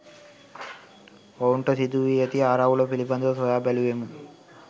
ඔවුන්ට සිදුවී ඇති ආරවුල පිළිබඳව සොයා බැලූවෙමු.